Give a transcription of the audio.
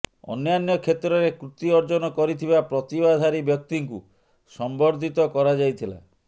ଅନ୍ୟାନ୍ୟ କ୍ଷେତ୍ରରେ କୃତି ଅର୍ଜନ କରିଥିବା ପ୍ରତିଭାଧାରୀ ବ୍ୟକ୍ତିଙ୍କୁ ସମ୍ବର୍ଦ୍ଧିତ କରାଯାଇଥିଲା